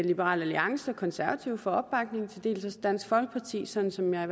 liberal alliance og konservative for opbakningen og til dels dansk folkeparti sådan som jeg